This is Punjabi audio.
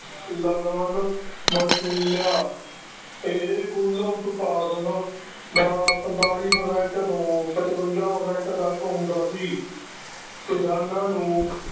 ਲਗਾਨ ਵਸ਼ੂਲਿਆ, ਇਹ ਕੁੱਲ ਉਤਪਾਦਨ ਦਾ ਪੰਤਾਲੀ percent ਤੋਂ ਪਚਵੰਜਾ percent ਤੱਕ ਹੁੰਦਾ ਸੀ, ਕਿਸਾਨਾਂ ਨੂੰ